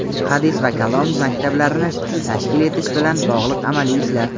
hadis va kalom maktablarini tashkil etish bilan bog‘liq amaliy ishlar;.